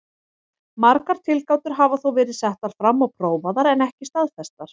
Margar tilgátur hafa þó verið settar fram og prófaðar en ekki staðfestar.